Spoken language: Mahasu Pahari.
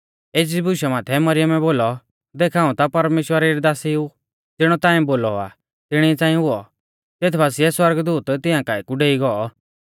एज़ी बुशा माथै मरियमै बोलौ देख हाऊं ता परमेश्‍वरा री दासी ऊ ज़िणौ ताऐं बोलौ आ तिणी च़ांई हुऔ तेथ बासिऐ सौरगदूत तिंया काऐ कु डेई गौ